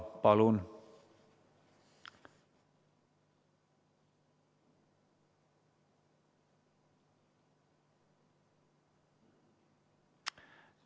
Palun!